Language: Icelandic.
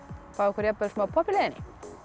fá okkur jafnvel smá popp í leiðinni